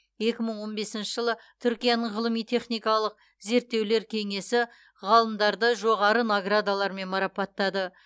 екі мың он бесінші жылы түркияның ғылыми техникалық зерттеулер кеңесі ғалымдарды жоғары наградалармен марапаттады